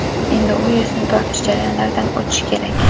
Endi u yuzni tortish jarayonlaridan o‘tishi kerak.